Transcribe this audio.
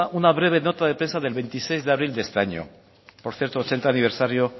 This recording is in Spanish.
una breve nota de prensa del veintiséis de abril de este año por cierto ochenta aniversario